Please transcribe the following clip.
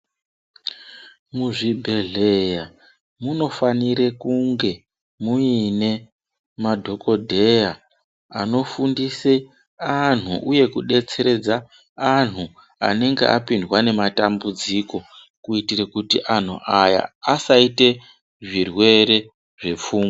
Muzvibhehleya munofanire kunge mune madhokodheya anofundise anhu ,uye kudetseredza anhu anenge apindwa ngematambudziko kuitire kuti anhu aya asaite zvirwere zvepfungwa.